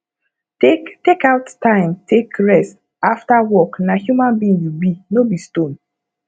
take take out time take rest after work na human being you be no be stone